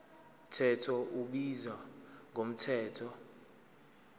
mthetho ubizwa ngomthetho